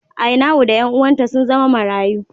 Ainau da ’yan uwanta sun zama marayu.